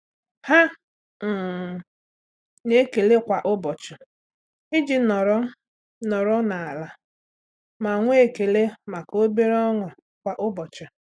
Há um nà-èkèlé kwa ụ́bọ̀chị̀ iji nọ́rọ́ nọ́rọ́ n’álá ma nwee ekele màkà obere ọṅụ́ kwa ụ́bọ̀chị̀.